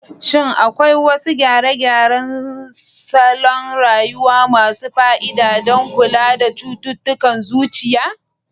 Shin akwai wasu gyare-gyaren salon rayuwa masu fa'ida don kula da cututtukan zuciya?